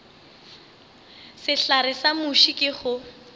sehlare sa muši ke go